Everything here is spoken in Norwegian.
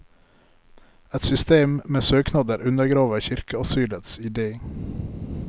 Et system med søknader undergraver kirkeasylets idé.